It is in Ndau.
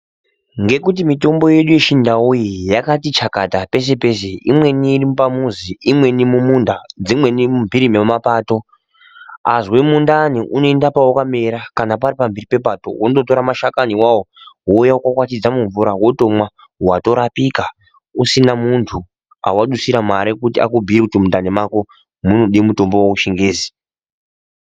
Ngekuti mitombo yedu yechindau iyi yakati chakata peshe peshe, imweni iripamuzi imweni iri mumunda dzimweni mumpiri mwamapato. Azwe mundani unoend payakamera pari pamhiri pepato wondotora mashakani awawo wondokwatidza mumvura wotomwa watorapika usina muntu mawadusira mare kuti akubhuyire kuti mundani mwako munode mutombo wechingezi.